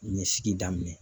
ɲɛsigi daminɛ.